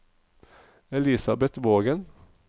Elisabeth Vågen